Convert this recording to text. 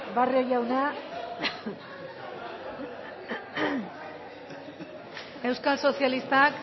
barrio jauna euskal sozialistak